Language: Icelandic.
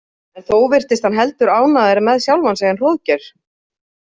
En þó virtist hann heldur ánægðari með sjálfan sig en Hróðgeir.